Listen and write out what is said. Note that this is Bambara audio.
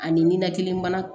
Ani ninakili bana